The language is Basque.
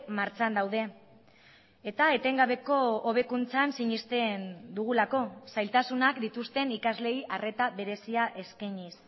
martxan daude eta etengabeko hobekuntzan sinesten dugulako zailtasunak dituzten ikasleei arreta berezia eskainiz